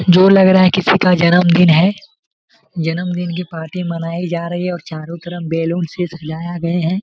जो लग रहा है किसका जन्मदिन है जन्मदिन की पार्टी मनाई जा रही है और चारों तरफ बेलो से सजाया गए हैं।